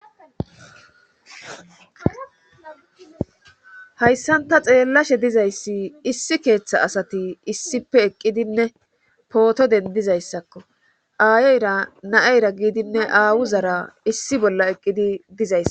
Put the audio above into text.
Hayssanta xeellashe dizayssi issi keeththa asati issipe eqqidinne pooto dendizayssakko aayoyra naayra giidinne aawu zara issi bolla eqqidi dizays